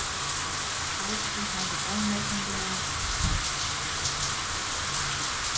Ásgeir hafði óneitanlega áhuga.